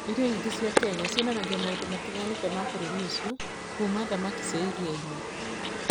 Irio nyingĩ cia Kenya cionanagia maũndũ matiganĩte ma bũrũri ũcio, kuuma thamaki cia iria-inĩ nginya iria-inĩ.